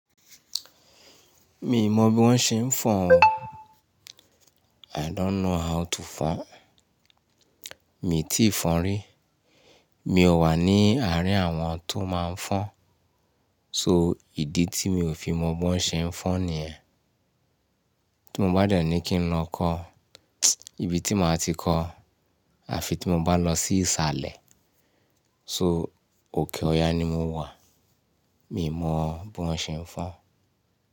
Mi mọ bí wọ́n ṣe ń fọ́n o. I don't know how to fon. Mi tíì fọn rí. Mi ò wà ní àárín àwọn tó máa ń fọ́n. So, ìdí tí mi ò fi mọ bí wọ́n ṣe ń fọ́n nìyẹn. Tí mo bá dẹ̀ ní kí n lọ kọ́, ibi tí màá ti kọ́, àfi tí mo bá lọ sí ìsàlẹ̀. So, òkè ọya ni mo wà. Mi ò mọ bí wọ́n ṣe ń fọ́n.